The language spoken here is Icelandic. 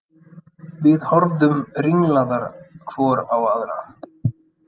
Við horfðum ringlaðar hvor á aðra.